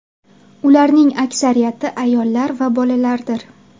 Ularning aksariyati ayollar va bolalardir.